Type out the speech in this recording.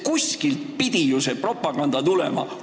Kuskilt pidi ju see propaganda tulema.